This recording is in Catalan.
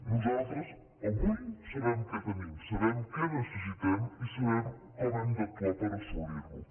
nosaltres avui sabem què tenim sabem què necessitem i sabem com hem d’actuar per assolir·ho